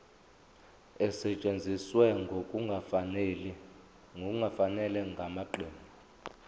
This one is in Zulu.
esetshenziswe ngokungafanele ngamaqembu